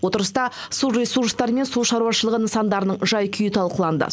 отырыста су ресурстары мен су шаруашылығы нысандарының жай күйі талқыланды